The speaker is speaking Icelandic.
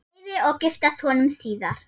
Leifi og giftast honum síðar.